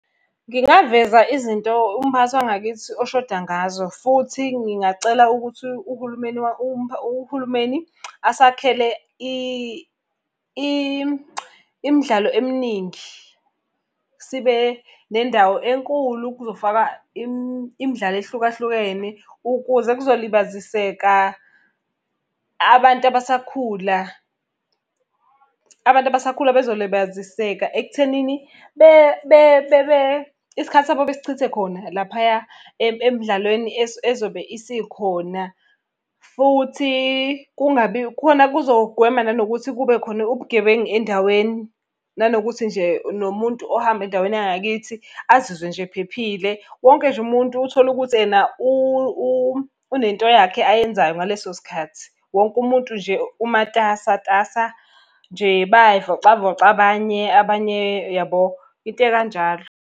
Ngingaveza izinto umphakathi wangakithi oshoda ngazo, futhi ngingacela ukuthi uhulumeni uhulumeni asakhele imidlalo eminingi. Sibe nendawo enkulu, kuzofakwa imidlalo ehlukahlukene ukuze kuzolibaziseka abantu abasakhula. Abantu abasakhula bezolibaziseka ekuthenini isikhathi sabo besichithe khona laphaya emdlalweni ezobe isikhona. Futhi kungabi khona kuzogwema nanokuthi kube khona ubugebengu endaweni. Nanokuthi nje nomuntu ohamba endaweni yangakithi azizwe nje ephephile, wonke nje umuntu uthole ukuthi ena unento yakhe ayenzayo ngaleso sikhathi. Wonke umuntu nje umatasatasa, nje bayay'vocavoca abanye, abanye yabo, into ekanjalo.